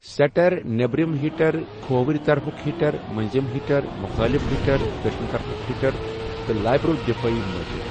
Seater, نیٚبرِم hitter کھوورِ طرفٗك ہِٹَر، مٔنزِم ہِٹَر، مُخٲلِف ہِٹَر دٔچِھنہِ طرفٗك ہِٹَر تہٕ لائبیرو دفٲعی مٲہر۔